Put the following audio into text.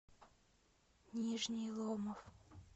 нижний ломов